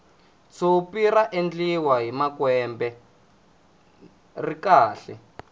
tshopi ra endliwa hi makwembe ri kahle